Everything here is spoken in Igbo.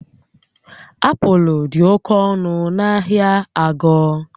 Apụl dị oke ọnụ na ahịa Ago